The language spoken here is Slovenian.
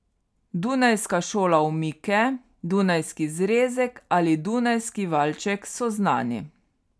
Dunajska šola omike, dunajski zrezek ali dunajski valček so znani.